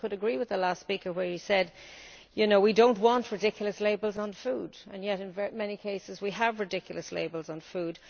And I could agree with the last speaker where he said we don't want ridiculous labels on food, and yet in many cases we have ridiculous labels on food.